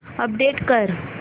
update कर